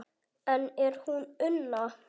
Enn er hún Una